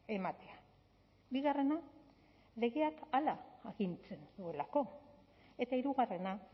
ematea bigarrena legeak hala agintzen duelako eta hirugarrena